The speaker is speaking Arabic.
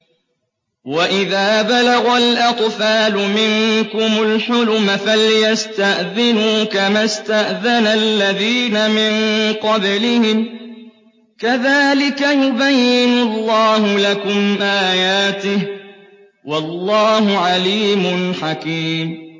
وَإِذَا بَلَغَ الْأَطْفَالُ مِنكُمُ الْحُلُمَ فَلْيَسْتَأْذِنُوا كَمَا اسْتَأْذَنَ الَّذِينَ مِن قَبْلِهِمْ ۚ كَذَٰلِكَ يُبَيِّنُ اللَّهُ لَكُمْ آيَاتِهِ ۗ وَاللَّهُ عَلِيمٌ حَكِيمٌ